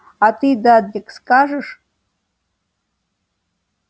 а ты дадлик скажешь